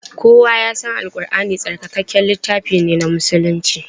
Kowa ya san Al Ƙurʼani tsarkakakken littafi ne na musulunci.